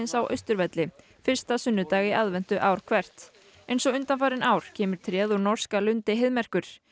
á Austurvelli fyrsta sunnudag í aðventu ár hvert eins og undanfarin ár kemur tréð úr norska lundi Heiðmerkur